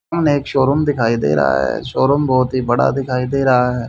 मने एक शोरूम दिखाई दे रहा है शोरूम बहोत ही बड़ा दिखाई दे रहा है।